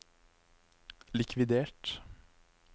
likvidert